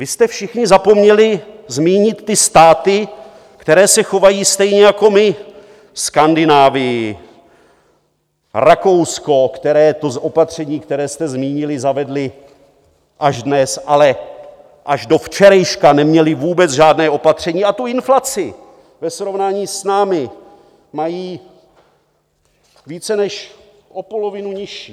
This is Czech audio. Vy jste všichni zapomněli zmínit ty státy, které se chovají stejně jako my - Skandinávii, Rakousko - které to opatření, které jste zmínili, zavedly až dnes, ale až do včerejška neměly vůbec žádné opatření a tu inflaci ve srovnání s námi mají více než o polovinu nižší.